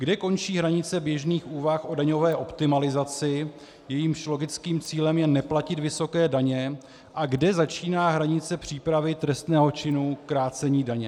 Kde končí hranice běžných úvah o daňové optimalizaci, jejímž logickým cílem je neplatit vysoké daně, a kde začíná hranice přípravy trestného činu krácení daně?